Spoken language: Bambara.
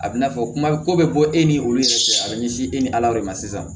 A bɛ n'a fɔ kuma ko bɛ bɔ e ni olu cɛ a bɛ ɲɛsin e ni ala de ma sisan